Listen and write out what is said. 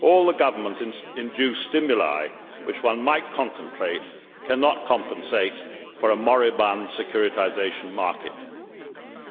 All the government induced stimuli which one might contemplate cannot compensate for a moribund securitisation market.